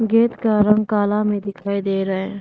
Gate का रंग काला में दिखाई दे रहा हैं।